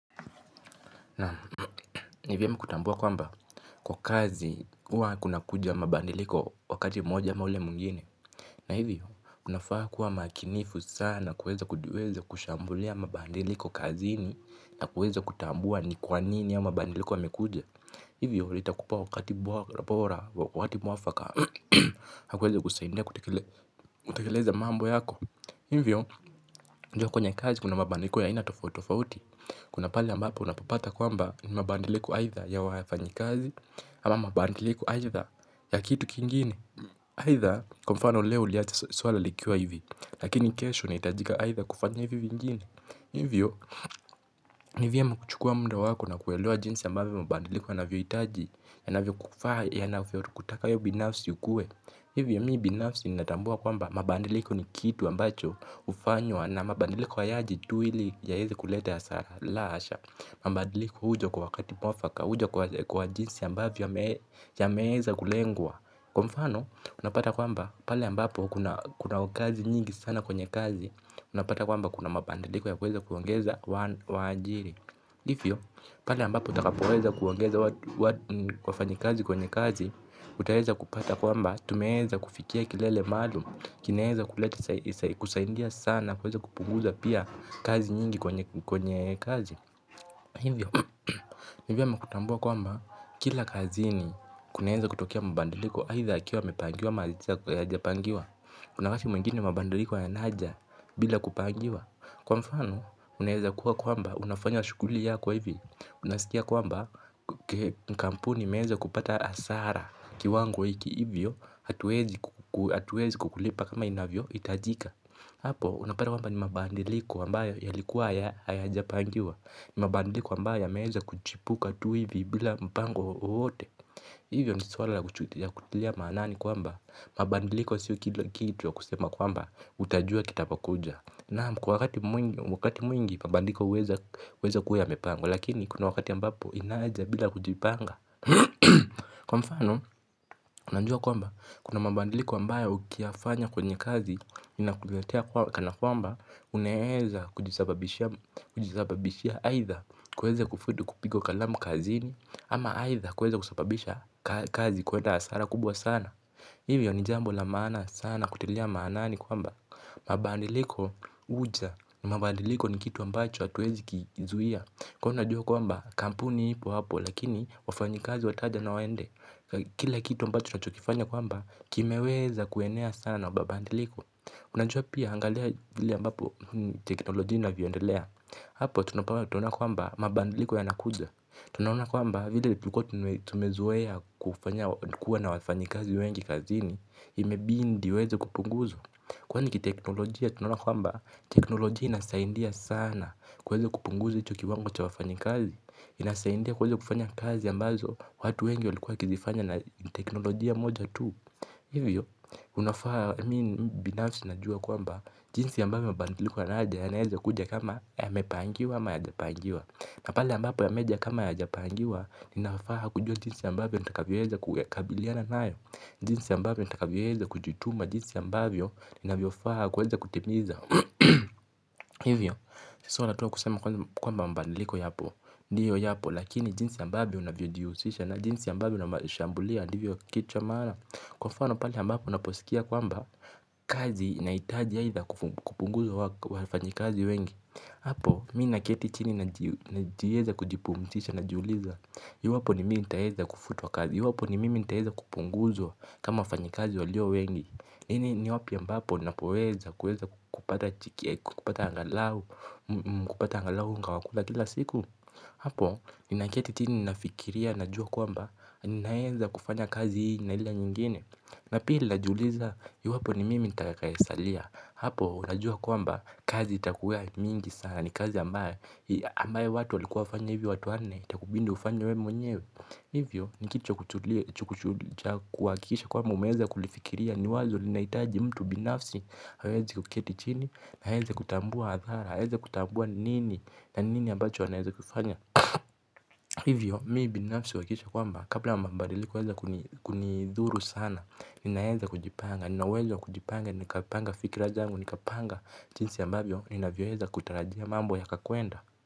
Nam ni vyema kutambua kwamba kwa kazi huwa kunakuja mabadiliko wakati moja ama ule mwingine. Na hivyo unafaa kuwa makinifu sana kueza kujiweza kushambulia mabadiliko kazini. Na kueza kutambua ni kwa nini hayo mabadiliko yamekuja. Hivyo itakupa wakati bora wakati mwafaka. Na kwenye kusaidia kutekeleza mambo yako hivyo kwenye kazi kuna mabadiliko ya aina tofauti tofauti. Kuna pahali ambapo unapapata kwamba ni mabadiliko aidha ya wafanyikazi ama mabadiliko aidha ya kitu kingine. Aidha kwa mfano leo uliacha swala likiwa hivi lakini kesho nahitajika aidha kufanya hivi vingine. Hivyo ni vyema kuchukua muda wako na kuelewa jinsi ambavyo mabadiliko inanvyohitaji yananavyokufaa yanavyokutaka we binafsi ukue. Hivyo mi binafsi ninatambua kwamba mabadiliko ni kitu ambacho hufanywa na mabadiliko hayaji tu ili yaeze kulete hasara la hasha. Mabadiliko huja kwa wakati mwafaka, huja kwa jinsi ambavyo yameweza kulengwa. Kwa mfano, unapata kwamba, pale ambapo kuna kazi nyingi sana kwenye kazi, unapata kwamba kuna mabadiliko ya kuweza kuongeza waajiri. Hivyo pale ambapo utakapoweza kuongeza wafanyi kazi kwenye kazi, utaweza kupata kwamba, tumeweza kufikia kilele maalum, kiaeza kusaidia sana, kuweza kupunguza pia kazi nyingi kwenye kazi. Hivyo, hivyo nmekutambua kwamba kila kazini kunaeza kutokea mabadiliko aidha yakiwa yamepangiwa ama hayajapangiwa. Kuna wakati mwingine mabadiliko yanaja bila kupangiwa. Kwa mfano, unaeza kuwa kwamba unafanya shuguli yako hivi. Unasikia kwamba mkampuni imeweza kupata hasara kiwango hiki. Hivyo, hatuwezi kukulipa kama inavyohitajika. Hapo, unapata kwamba ni mabadiliko ambayo yalikuwa hayajapangiwa. Mabadiliko ambayo yameweza kuchipuka tu hivi bila mpango wowote hivyo ni swala ya kutilia maanani kwamba mabadiliko sio kitu ya kusema kwamba utajua kitakapokuja. Nam kwa wakati mwingi mabadiliko huweza kuwa yamepangwa. Lakini kuna wakati ambapo inaja bila kujipanga. Kwa mfano, unajua kwamba kuna mabadiliko ambayo ukiyafanya kwenye kazi kana kwamba unaeza kujisababishia aidha kuweza kufutwa kupigwa kalamu kazini ama aidha kuweza kusababisha kazi kuenda hasara kubwa sana. Hivyo ni jambo la maana sana kutilia maanaani kwamba mabadiliko huja. Mabadiliko ni kitu ambacho hatuwezi kizuia. Ka unajua kwamba kampuni ipo hapo. Lakini wafanyikazi wataja na waende. Kila kitu ambacho tunachokifanya kwamba kimeweza kuenea sana mabadiliko unajua pia angalia vile ambapo teknolojia inapoendelea tunapoona kwamba mabadiliko yanakuja. Tunaona kwamba vile tulikuwa tumezoea kufanya kuwa na wafanyi kazi wengi kazini. Imebidi waweze kupunguzwa. Kwani kiteknolojia tunaona kwamba teknolojia inasaidia sana. Kuweza kupunguza hicho kiwango cha wafanyikazi inasaidia kuweza kufanya kazi ambazo watu wengi walikuwa wakizifanya na teknolojia moja tu. Hivyo unafaa mimi binafsi najua kwamba jinsi ambavyo mabadiliko yanaja yanaeza kuja kama yamepangiwa ama hayajapanjiwa. Na pale ambapo yameja kama hayajapangiwa ninafaa kujua jinsi ambavyo nitakavyoweza kukabiliana nayo. Jinsi ambavyo nitakavyoweza kujituma jinsi ambavyo ninavyofaa kuweza kutimiza. Hivyo. Si suala tu la kusema kwamba mabadiliko yapo. Ndiyo yapo. Lakini jinsi ambayo unavyojihusisha na jinsi ambavyo unashambulia ndivyo kitu cha maana. Kwa mfano pale ambapo unaposikia kwamba kazi inahitaji aidha kupunguzwa wafanyikazi wengi. Hapo mi naketi chini najieza kujipumzisha najiuliza iwapo ni mimi nitaeza kufutwa kazi iwapo ni mimi nitaeza kupunguzwa kama wafanyikazi walio wengi. Hii ni wapi ambapo napoweza kupata chiki kupata angalau kupata angalau unga wa kula kila siku. Hapo ni nakieti chini nafikiria na jua kwamba ninaeza kufanya kazi hii na ile nyingine. Na pili najiuliza iwapo ni mimi nitakayesalia. Hapo unajua kwamba kazi itakuwa mingi sana. Ni kazi ambayo ambayo watu walikuwa wafanye hivyo watu wanne. Itakubidi ufanye we mwenyewe. Hivyo ni kitu cha kutulia. Kuhakikisha kwamba umeweza kulifikiria. Ni wazo linahitaji mtu binafsi aweze kuketi chini. Na aweze kutambua hadhara awezi kutambua ni nini. Na nini ambacho anaweza kufanya. Hivyo mi binafsi huhakikisha kwamba kabla mabadiliko yaweze kunidhuru sana. Ninaeza kujipanga, nina uwezo wa kujipanga, nikapanga fikira zangu, nikapanga. Chinsi ambavyo, ninavyoweza kutarajia mambo yakakwenda.